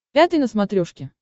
пятый на смотрешке